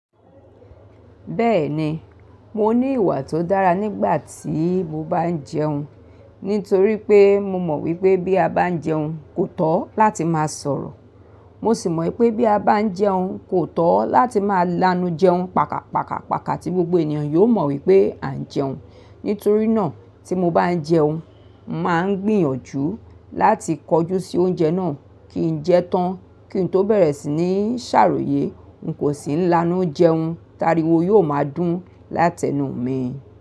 Bẹ́ẹ̀ni, mo ní ìwà tó dára nígbà tí mo bá ń jẹun, nítorí pé mo mọ̀ wípé bí a bá ń jẹun, kò tọ́ láti máa sọ̀rọ̀. Mo sì mọ̀ wípé bí a bá ń jẹun, kò tọ́ láti máa lanu jẹun paka, paka, paka tí gbogbo ènìyàn yóò mọ̀ wípé à ń jẹun. Nítorí náà tí mo bá ń jẹun, mo màá ń gbìyànjú láti kojú sí oúnjẹ náà kí n jẹ́ tán kí n tó bẹ̀rẹ̀ sí ní ṣàròyé. N kò sì ń lanu jẹun, tári wo yóò máa dún láti ẹnu mi.